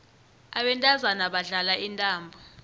abantazana badlala intambo